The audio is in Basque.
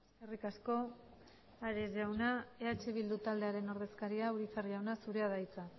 eskerrik asko ares jauna eh bildu taldearen ordezkaria urizar jauna zurea da hitza